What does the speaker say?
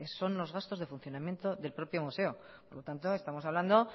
son los gastos de funcionamiento del propio museo por lo tanto estamos hablando